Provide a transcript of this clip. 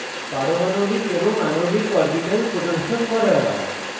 পারমাণবিক এবং আণবিক orbitals প্রদর্শন করা